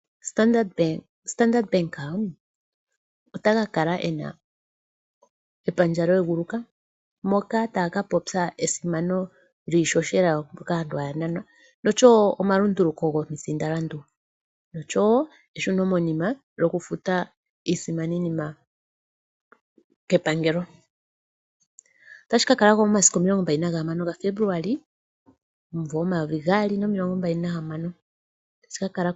Standard Bank otaka kala ena epandja lyeeguluka moka taya ka popya esimano lyiishoshela kaantu haya nanwa noshowo omalunduluko gomisindalandu, noshowo eshuno monima lyoku futa iisimaninima kepangelo. Otashi ka kala ko momasiku omilongo mbali naga hamano gaFebluali omumvo omayovi gaali nomilongo mbali nahamano.